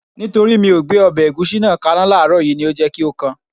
Nítorí mi ò gbé ọbẹ̀ ẹ̀gúsí náà kaná láàrọ̀ yìí ni ó jẹ́ kí ó kan